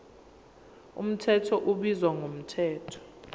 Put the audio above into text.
mthetho ubizwa ngomthetho